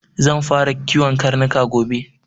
Zan fara kiwon karnuka gobe.